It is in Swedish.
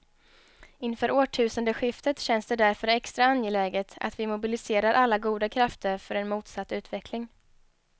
Inför årtusendeskiftet känns det därför extra angeläget att vi mobiliserar alla goda krafter för en motsatt utveckling.